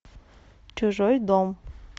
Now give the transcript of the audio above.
чужой дом